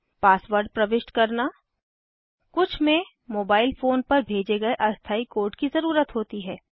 password प्रविष्ट करना कुछ में मोबाइल फोन पर भेजे गए अस्थायी कोड की ज़रुरत होती है